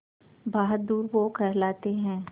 बहादुर वो कहलाते हैं